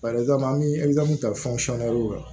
Bari an bɛ ta